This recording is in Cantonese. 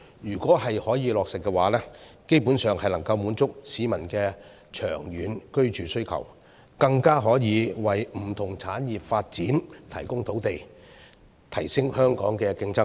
如果可以落實的話，基本上能夠滿足市民的長遠居住需求，更可以為不同產業發展提供土地，提升香港的競爭力。